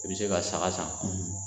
I bi se ka saka san